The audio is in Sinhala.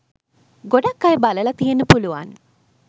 ගොඩක් අය බලලා තියෙන්න පුලුවන්